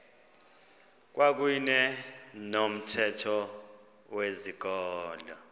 kwakuyne nomthetho wezikolo